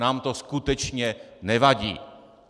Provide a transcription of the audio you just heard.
Nám to skutečně nevadí.